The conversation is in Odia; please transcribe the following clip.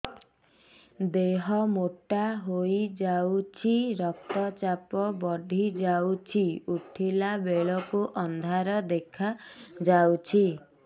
ଦେହ ମୋଟା ହେଇଯାଉଛି ରକ୍ତ ଚାପ ବଢ଼ି ଯାଉଛି ଉଠିଲା ବେଳକୁ ଅନ୍ଧାର ଦେଖା ଯାଉଛି